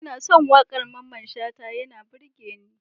Ina son wakar Mamman shata yana burgewa ni.